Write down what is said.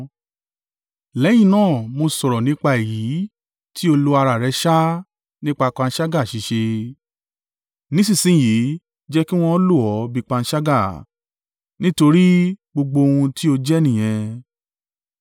Lẹ́yìn náà mo sọ̀rọ̀ nípa èyí tí ó lo ara rẹ̀ sá nípa panṣágà ṣíṣe, ‘Nísinsin yìí jẹ kí wọn lo o bí panṣágà, nítorí gbogbo ohun tí ó jẹ́ nìyẹn.’